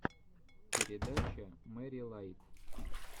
передача мэри лайт